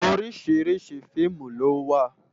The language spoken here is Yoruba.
Óriṣiriṣi fiimú lòwá